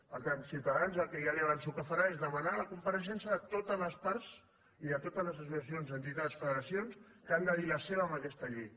per tant ciutadans el que ja li avanço que farà és demanar la compareixença de totes les parts i de totes les associacions entitats federacions que han de dir la seva en aquesta llei